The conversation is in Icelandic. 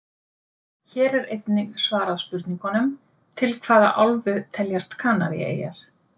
Hér er einnig svarað spurningunum: Til hvaða álfu teljast Kanaríeyjar?